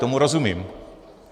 Tomu rozumím.